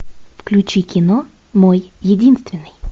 включи кино мой единственный